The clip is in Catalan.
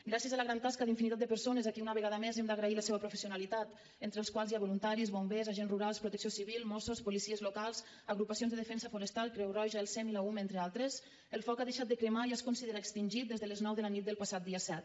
gràcies a la gran tasca d’infinitat de persones a qui una vegada més hem d’agrair la seva professionalitat entre els quals hi ha voluntaris bombers agents rurals protecció civil mossos policies locals agrupacions de defensa forestal creu roja el sem i la ume entre altres el foc ha deixat de cremar i ja es considera extingit des de les nou de la nit del passat dia set